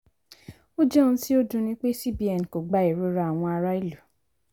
"ó jẹ ohun tí ó dunni pé cbn kò gba ìrora àwọn ará ìlú".